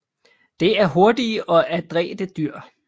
Det er hurtige og adrætte dyr